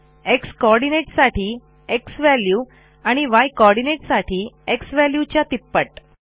x coordinateसाठी z value आणि y coordinateसाठी xValueच्या तिप्पट